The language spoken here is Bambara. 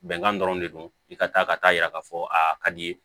Bɛnkan dɔrɔn de don i ka taa ka taa yira k'a fɔ a ka di ye